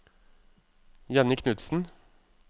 Jenny Knutsen